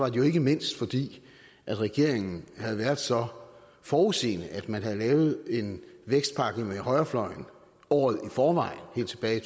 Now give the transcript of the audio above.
jo ikke mindst fordi regeringen havde været så forudseende at man havde lavet en vækstpakke med højrefløjen året i forvejen helt tilbage i